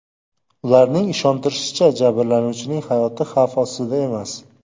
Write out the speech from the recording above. Ularning ishontirishicha, jabrlanuvchining hayoti xavf ostida emas.